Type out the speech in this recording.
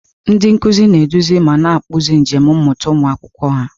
Ndị nkuzi na-eduzi ma na-akpụzi njem mmụta ụmụ akwụkwọ ha.